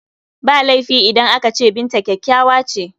Ba laifi idan aka ce Binta kyakkyawa ce..